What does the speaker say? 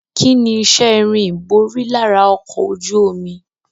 Kíni iṣẹ́ irin ìborí lára ọkọ̀ ojú omi?